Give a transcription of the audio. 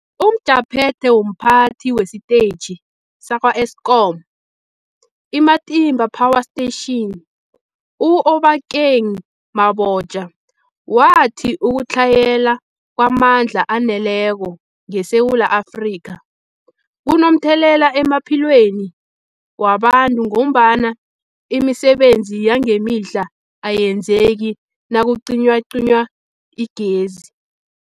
UmJaphethe womPhathi wesiTetjhi sakwa-Eskom i-Matimba Power Station u-Obakeng Mabotja wathi ukutlhayela kwamandla aneleko ngeSewula Afrika kunomthelela emaphilweni wabantu ngombana imisebenzi yangemihla ayenzeki nakucinywacinywa igezi.